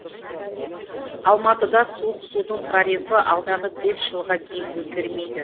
алматыда суық судың тарифі алдағы бес жылға дейін өзгермейді